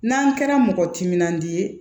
N'an kɛra mɔgɔ timinandiya ye